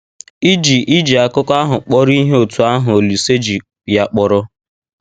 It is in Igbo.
Ì ji Ì ji akụkọ ahụ kpọrọ ihe otú ahụ Olise ji ya kpọrọ?